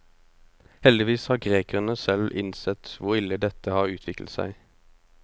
Heldigvis har grekerne selv innsett hvor ille dette har utviklet seg.